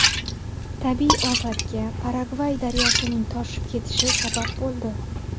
Tabiiy ofatga Paragvay daryosining toshib ketishi sabab bo‘ldi.